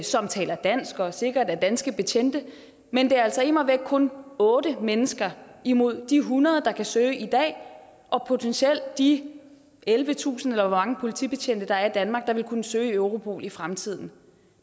som taler dansk og sikkert er danske betjente men det er altså immer væk kun otte mennesker imod de hundrede der kan søge i dag og potentielt de ellevetusind eller hvor mange politibetjente der er i danmark der vil kunne søge i europol i fremtiden